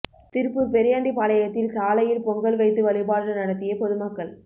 திருப்பூர் பெரியாண்டி பாளையத்தில் சாலையில் பொங்கல் வைத்து வழிபாடு நடத்திய பொதுமக்கள்